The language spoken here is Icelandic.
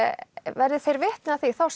verði þeir vitni að því þá